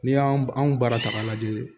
N'i y'an baara ta k'a lajɛ